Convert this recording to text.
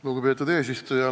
Lugupeetud eesistuja!